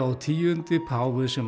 tíu páfi sem